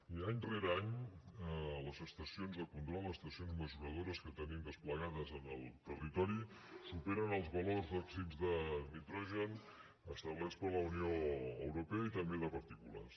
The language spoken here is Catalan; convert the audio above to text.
i any rere any les estacions de control les estacions mesuradores que tenim desplegades en el territori superen els valors d’òxids de nitrogen establerts per la unió europea i també de partícules